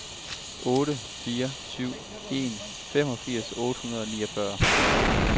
otte fire syv en femogfirs otte hundrede og niogfyrre